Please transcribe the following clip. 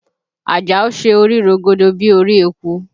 Àjàó ṣe orí rógódó bíi orí eku